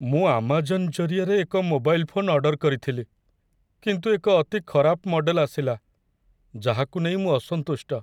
ମୁଁ ଆମାଜନ୍ ଜରିଆରେ ଏକ ମୋବାଇଲ୍ ଫୋନ୍ ଅର୍ଡର କରିଥିଲି, କିନ୍ତୁ ଏକ ଅତି ଖରାପ ମଡେଲ ଆସିଲା, ଯାହାକୁ ନେଇ ମୁଁ ଅସନ୍ତୁଷ୍ଟ।